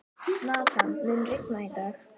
Nathan, mun rigna í dag?